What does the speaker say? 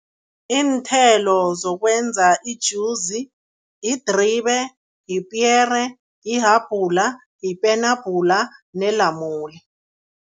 Iinthelo zokwenza ijuzi yidribe, yipiyere, yihabhula, yipenabhula nelamule.